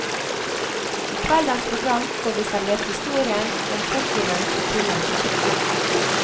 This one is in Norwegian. I kveldens program får vi servert historien om portvinens opprinnelse.